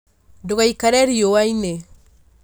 Ndũgaikare riũa-inĩ